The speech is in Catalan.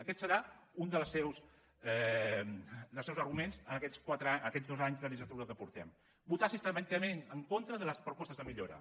aquest ha estat un dels seus arguments en aquests dos anys de legislatura que portem votar sistemàticament en contra de les propostes de millora